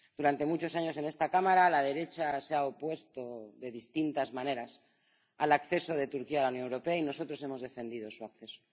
Durante muchos años en esta Cámara, la derecha se ha opuesto de distintas maneras al acceso de Turquía a la Unión Europea y nosotros hemos defendido su acceso.